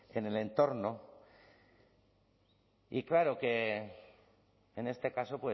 en el entorno y claro que en este caso